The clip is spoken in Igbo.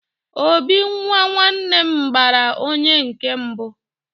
obi nwa nwannem gbara onye nkem mbu